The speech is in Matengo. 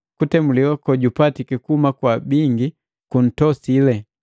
Kutemuliwa kojupatiki kuhuma kwa bingi juntosile.